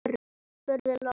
spurði Lóa.